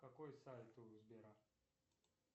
какой сайт у сбера